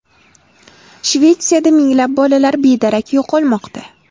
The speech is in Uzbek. Shvetsiyada minglab bolalar bedarak yo‘qolmoqda.